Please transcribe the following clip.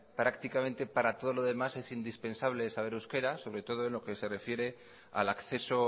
prácticamente para todo lo demás es indispensable saber euskera sobre todo en lo que se refiere al acceso